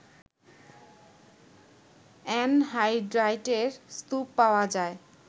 অ্যানহাইড্রাইটের স্তুপ পাওয়া যায়